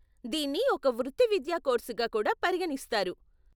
దీన్ని ఒక వృత్తివిద్యా కోర్సుగా కూడా పరిగణిస్తారు.